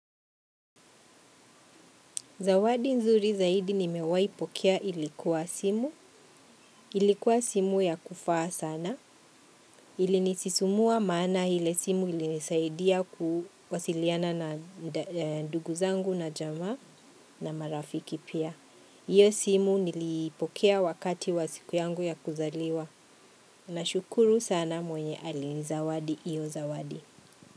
Zawadi nzuri zaidi nimewaipokea ilikuwa simu. Ilikuwa simu ya kufaa sana. Ilinisisimua maana ile simu ilinisaidia kuwasiliana na ndugu zangu na jamaa na marafiki pia. Hiyo simu nilipokea wakati wa siku yangu ya kuzaliwa. Nashukuru sana mwenye alinizawadi hiyo zawadi.